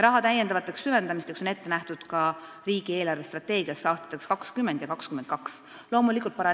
Lisasüvendamisteks on raha ette nähtud ka riigi eelarvestrateegiasse aastateks 2020 ja 2022.